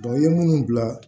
i ye minnu bila